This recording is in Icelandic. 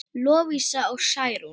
Lovísa og Særún.